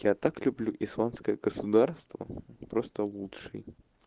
я так люблю исламское государство просто лучший